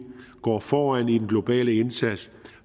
går foran i den globale indsats